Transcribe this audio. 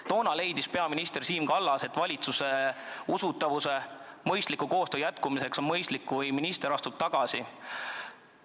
Toona leidis peaminister Siim Kallas, et valitsuse usaldusväärsuse ja hea koostöö huvides on mõistlik, kui minister astub tagasi.